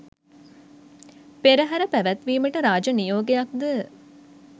පෙරහර පැවැත්වීමට රාජ නියෝගයක් ද